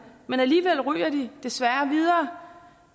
men alligevel ryger de desværre videre